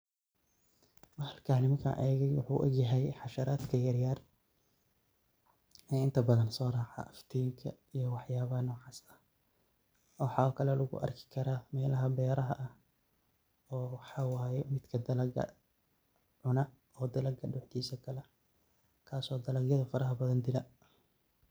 Bahalkan muxuu u egyahay xasharatka yaar yaar ee inta badan soo raaco iftiinka, iyo waxyaabaha noocaas maxaa kala lagu arki karaa? Beeraha oo midka dalagga cuno, oo dalagga duxiisa galo, kaasoo dalagyada fara badan fara badan dila